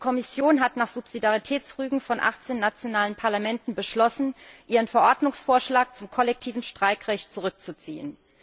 Die Kommission hat nach Subsidiaritätsrügen von 18 nationalen Parlamenten beschlossen, ihren Verordnungsvorschlag zum kollektiven Streikrecht zurückzuziehen.